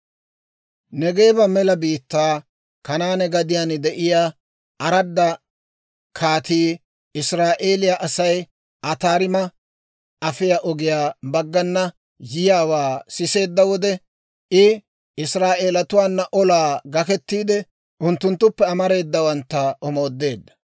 Neegeeba mela biittaa, Kanaane gadiyaan de'iyaa Araada kaatii Israa'eeliyaa Asay Ataarima afiyaa ogiyaa baggana yiyaawaa siseedda wode, I Israa'eelatuwaana olaa gakettiide, unttunttuppe amareedawantta omoodeedda.